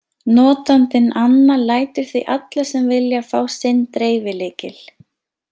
Notandinn Anna lætur því alla sem vilja fá sinn dreifilykil.